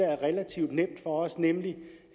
relativt nemt for os nemlig